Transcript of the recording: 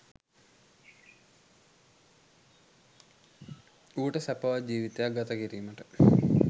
ඌට සැපවත් ජීවිතයක් ගත කිරීමට